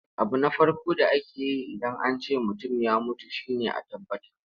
Abu na farko da ake yi Idan an ce mutum ya mutu shi ne a tabbatar.